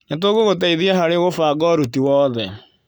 Nĩtũgũgũteithia harĩ gũbanga ũruti wothe.